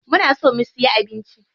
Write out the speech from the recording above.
Muna so mu siya abinci.